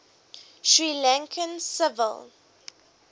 sri lankan civil